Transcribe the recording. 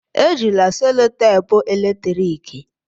Ejila selotape eletrik!